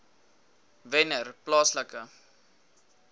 wennerplaaslike